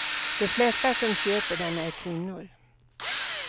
De flesta som köper den är kvinnor.